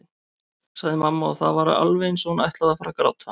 sagði mamma og það var alveg eins og hún ætlaði að fara að gráta.